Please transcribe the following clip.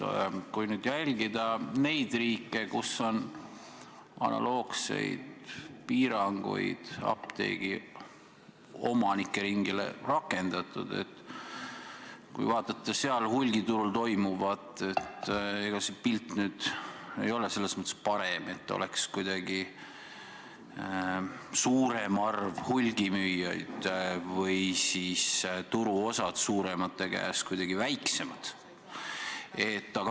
Kui nüüd jälgida neid riike, kus on analoogseid piiranguid apteegiomanike ringile rakendatud, kui vaadata seal hulgiturul toimuvat, siis ega see pilt ei ole selles mõttes parem, et oleks kuidagi suurem arv hulgimüüjaid või siis turuosad suuremate käes väiksemad.